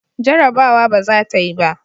Jarabawa ba za ta yi ba.